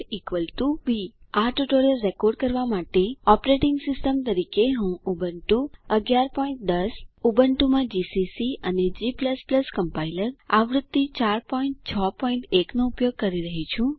a160 B આ tutorial record કરવા માટે ઓપરેટિંગ સિસ્ટમ તરીકે હું ઉબુન્ટુ 1110 ઉબુન્ટુમાં જીસીસી અને g કમ્પાઇલર આવૃત્તિ 4 61 નો ઉપયોગ કરી રહ્યી છું